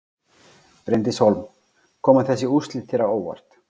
Bryndís Hólm: Koma þessi úrslit þér á óvart?